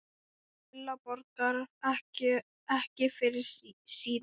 Lilla borgar ekki fyrir sína.